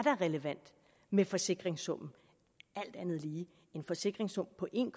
relevant med forsikringssummen en forsikringssum på en